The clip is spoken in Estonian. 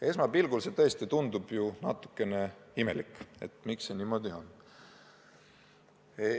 Esmapilgul see tõesti tundub natukene imelik, miks see niimoodi on.